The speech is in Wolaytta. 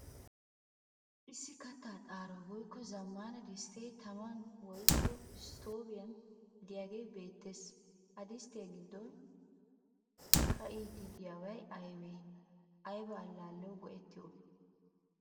Issi katta xaaroy woykko zamaana distte taman woykko istoviyan deiyage beettees. Ha disttiyaa giddon kattidi dei'yoge aybe? Ayba allaliyawu go'etiyobe?